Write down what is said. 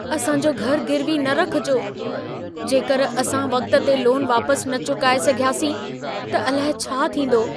असां जो घरु गिरवी न रखजो। जेकर असां वक़्त ते लोन वापस न चुकाए सघियासीं त अलाए छा थींदो?